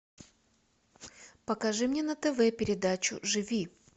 покажи мне на тв передачу живи